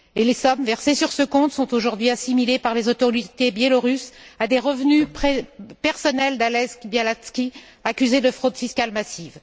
les sommes versées sur ce compte sont aujourd'hui assimilées, par les autorités biélorusses, à des revenus personnels d'Ales Bialatski, accusé de fraude fiscale massive.